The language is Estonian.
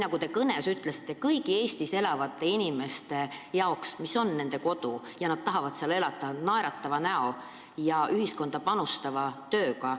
Nagu te oma kõnes ütlesite, Eesti on kõigi siin elavate inimeste kodu ja nad tahavad siin elada naeratava näoga ja panustada ühiskonda oma tööga.